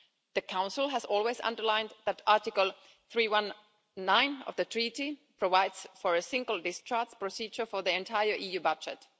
The Council has always underlined that Article 319 of the Treaty provides for a single discharge procedure for the entire EU budget.